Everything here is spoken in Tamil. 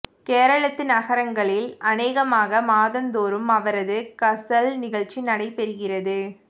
கேரளத்து நகரங்கலில் அனேகமகா மாதம்தோறும் அவரது கஸல் நிகழ்ச்சி நடைபெறுகிறது